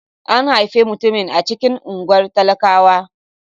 An haifi mutumin a cikin unguwar talakawa.